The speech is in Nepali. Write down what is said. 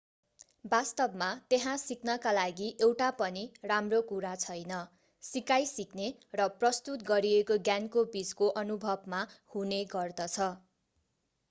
वास्तवमा त्यहाँ सिक्नका लागि एउटा पनि राम्रो कुरा छैन सिकाइ सिक्ने र प्रस्तुत गरिएको ज्ञानको बीचको अनुभवमा हुने गर्दछ